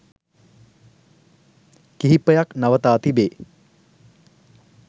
කිහිපයක් නවතා තිබේ